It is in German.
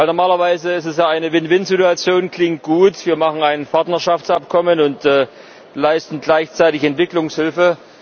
Normalerweise ist es eine Win Win Situation Es klingt gut, wir machen ein Partnerschaftsabkommen und leisten gleichzeitig Entwicklungshilfe.